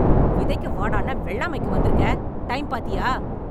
விதைக்க வாடான்னா, வெள்ளாமைக்கு வந்திருக்கே? டைம் பாத்தியா?